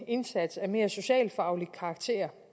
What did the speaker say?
en indsats af mere socialfaglig karakter